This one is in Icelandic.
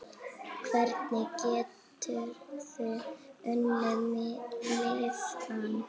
Hvernig geturðu unnið miða?